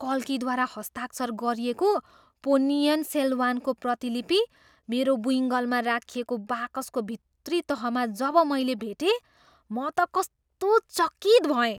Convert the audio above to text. कल्कीद्वारा हस्ताक्षर गरिएको पोन्नियिन सेल्वानको प्रतिलिपि मेरो बुइँगलमा राखिएको बाकसको भित्री तहमा जब मैले भेटेँ म त कस्तो चकित भएँ।